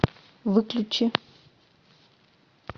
выключи